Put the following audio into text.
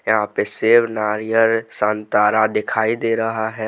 यहां पे सेब नारियल संतरा दिखाई दे रहा है।